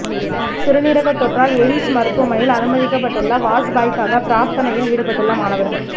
சிறுநீரக தொற்றால் எய்ம்ஸ் மருத்துவமனையில் அனுமதிக்கப்பட்டுள்ள வாஜ்பாய்க்காக பிரார்த்தனையில் ஈடுபட்டுள்ள மாணவர்கள்